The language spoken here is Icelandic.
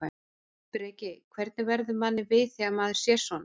Breki: Hvernig verður manni við þegar maður sér svona?